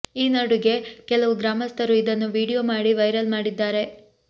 ಈ ನಡುಗೆ ಕೆಲವು ಗ್ರಾಮಸ್ಥರು ಇದನ್ನು ವೀಡಿಯೋ ಮಾಡಿ ವೈರಲ್ ಮಾಡಿದ್ದಾರೆ